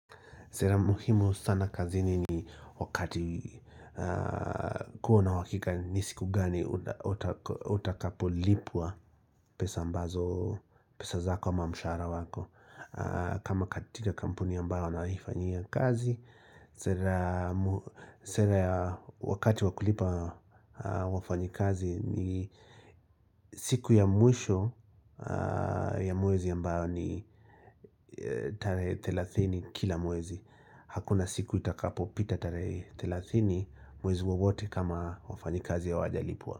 Sera muhimu sana kazini ni wakati kuwa na uhakika ni siku gani utakapo lipwa pesa mbazo pesa zako ama mshahara wako kama katika kampuni ambayo nawahi fanyia kazi Sera ya wakati wa kulipa wafanyikazi ni siku ya mwisho ya mwezi ya ambayo ni tarehe 30 kila mwezi Hakuna siku itakapo pita tarehe 30 Mwezi wowote kama wafanyikazi hawajalipwa.